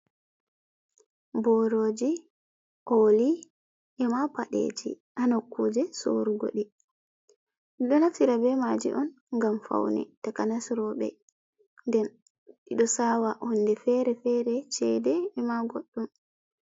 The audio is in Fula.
Boroji oli e ma padɗeji ha nokkuje sorugo ɗi, ɗiɗo naftira be maji on ngam faune takanas roɓe, nden ɗiɗo sawa honde fere fere chede ema godɗum.